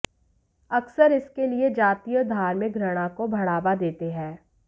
अक्सर इसके लिए जातीय और धार्मिक घृणा को बढ़ावा देते हैं